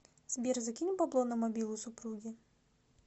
сбер закинь бабло на мобилу супруги